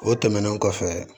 O tɛmɛnen kɔfɛ